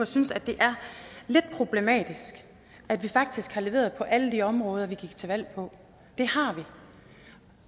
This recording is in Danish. synes at det er lidt problematisk at vi faktisk har leveret på alle de områder vi gik til valg på det har vi